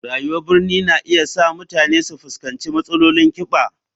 Rayuwar birni na iya sa mutane su fuskanci matsalolin kiba.